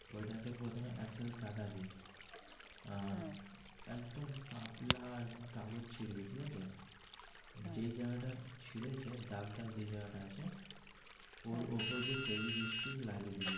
ওই টাকে প্রথমে আর একদম পাতলা একটা কাগজ ছিড়ে ঠিক আছে যেই জায়গাটা ছিড়েছে দাগ দাগ যেই জায়গাটা আছে ওর উপর দিয়ে লাগিয়ে দিবি.